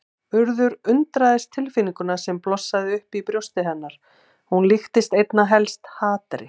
Urður undraðist tilfinninguna sem blossaði upp í brjósti hennar, hún líktist einna helst hatri.